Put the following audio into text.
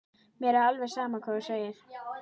Mér er alveg sama hvað hún segir.